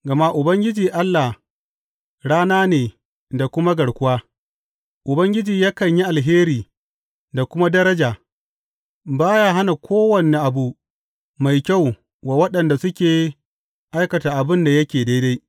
Gama Ubangiji Allah rana ne da kuma garkuwa; Ubangiji yakan yi alheri da kuma daraja; ba ya hana kowane abu mai kyau wa waɗanda suke aikata abin da yake daidai.